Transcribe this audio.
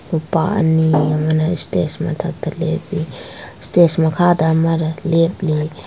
ꯅꯨꯄꯥ ꯑꯅꯤ ꯑꯃꯅ ꯁꯇꯦꯖ ꯃꯊꯛꯇ ꯂꯦꯞꯄꯤ ꯁꯇꯦꯖ ꯃꯈꯥꯗ ꯑꯃꯔ ꯂꯦꯞꯂꯤ꯫